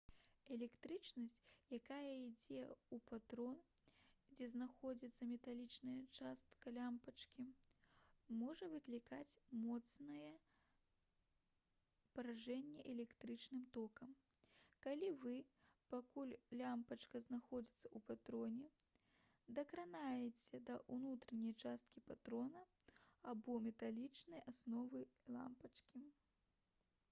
электрычнасць якая ідзе ў патрон дзе знаходзіцца металічная частка лямпачкі можа выклікаць моцнае паражэнне электрычным токам калі вы пакуль лямпачка знаходзіцца ў патроне дакранаецеся да ўнутранай часткі патрона або металічнай асновы лямпачкі